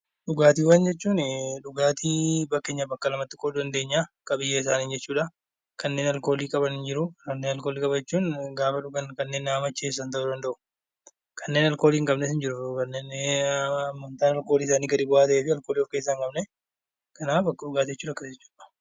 Dhugaatiiwwan jechuun dhugaatii fakkeenyaaf bakka lamatti qooduu dandeenya. Qabiyyee isaaniin jechuudhaa. Kanneen aalkoolii qaban ni jiruu kanneen alkoolii qaban jechuun gaafa dhugan kannen nama macheessan ta'uu danda'u, kanneen aalkoolii hin qabnes ni jiru kanneen hammamtaan aalkoolii gadi bu'a ta'eefi alkoolii hin qabne jechuudha.